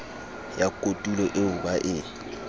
ya kotulo eo ba e